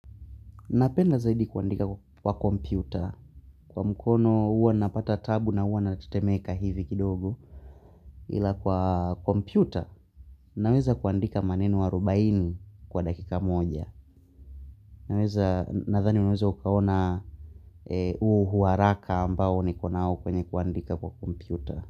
Napenda zaidi kuandika kwa kompyuta kwa mkono huwa napata taabu na huwa natetemeka hivi kidogo ila kwa kompyuta naweza kuandika maneno arubaini kwa dakika moja naweza nadhani unaweza ukaona huo uharaka ambao nikona nao kwenye kuandika kwa kompyuta.